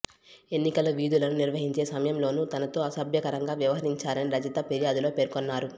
ఎన్నికల విధులను నిర్వహించే సమయంలోనూ తనతో అసభ్యకరంగా వ్యవహరించారని రజిత ఫిర్యాదులో పేర్కొన్నారు